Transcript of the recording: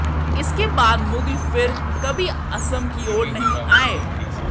इसके बाद मुगल फिर कभी असम की ओर नहीं आए